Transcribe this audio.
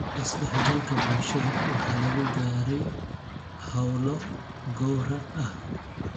Isdhexgalka bulshada waxaa lagu gaaray hawlo gowrac ah.